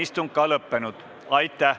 Istungi lõpp kell 14.02.